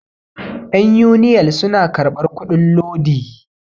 yan uniyal suna karbar kudin lodi